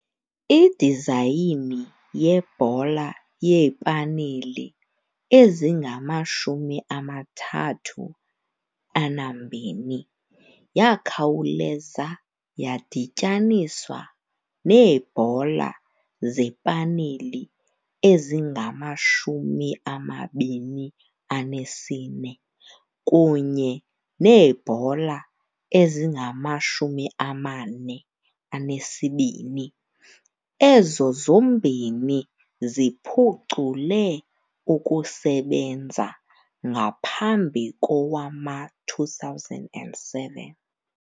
Idizayini yebhola yeepaneli ezingama-32 yakhawuleza yadityaniswa neebhola zepaneli ezingama-24 kunye neebhola ezingama-42, ezo zombini ziphucule ukusebenza ngaphambi kowama-2007.